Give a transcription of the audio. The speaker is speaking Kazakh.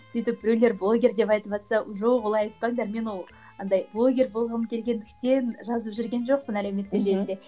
сөйтіп біреулер блогер деп айтыватса жоқ олай айтпаңдар мен ол андай блогер болғым келгендіктен жазып жүрген жоқпын әлеуметтік желіде